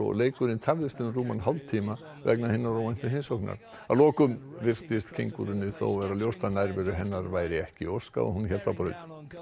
leikurinn tafðist um rúman hálftíma vegna hinnar óvæntu heimsóknar að lokum virtist kengúrunni þó verða ljóst að nærveru hennar væri ekki óskað og hélt á braut